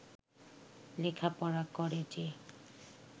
লেখাপড়া করে যে